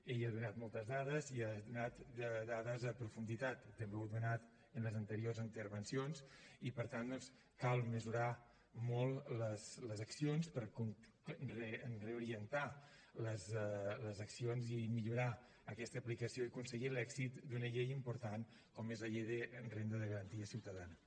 ell ha donat moltes dades i ha donat dades en profunditat també n’heu donat en les anteriors intervencions i per tant doncs cal mesurar molt les accions per reorientar les accions i millorar aquesta aplicació i aconseguir l’èxit d’una llei important com és la llei de renda de garantia ciutadana